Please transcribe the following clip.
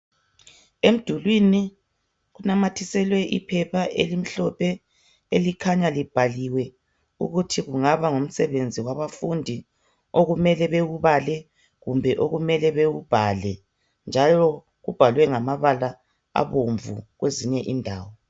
Emdulwini kunamathiselwe iphepha elimhlophe elikhanya libhaliwe ukuthi kungaba ngumsebenzi wabafundi okumele bewubale kumbe okumele bewubhale njalo ubhalwe ngamabala abomvu kwezinye indawo